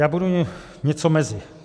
Já budu něco mezi.